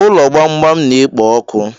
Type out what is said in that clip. Ulọ gbamgbam na-ekpo ọkụ